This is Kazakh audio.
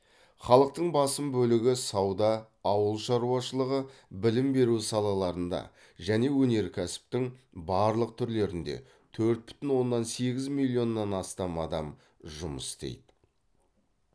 халықтың басым бөлігі сауда ауыл шаруашылығы білім беру салаларында және өнеркәсіптің барлық түрлерінде төрт бүтін оннан сегіз миллионнан астам адам жұмыс істейді